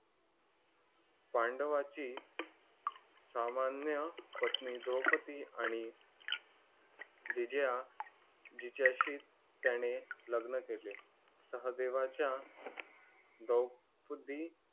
पांडवाची सामान्य पत्नी द्रौपदी आणि विजया तिच्याशी त्याने लग्न केले. सहदेवाच्या द्रौपदी